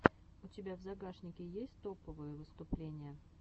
у тебя в загашнике есть топовые выступления